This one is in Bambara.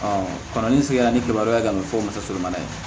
kɔnɔ ni sigira ni kibaruya kan ka fɔ musoman ye